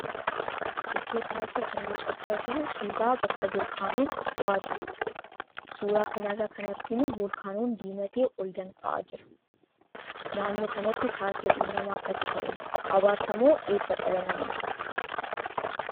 Iddoo kanatti kan mul'achaa jiru suuraa bakka volkaanoon dho'aa jiruudha. Suuraa kanarraa kan arginu volkaanoon diimatee ol danfa'aa jira. Naannoo kanatti taateen uumamaa akkasii ta'uun abaarsa moo eebba dhala namaatiif?